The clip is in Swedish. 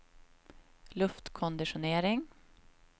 luftkonditionering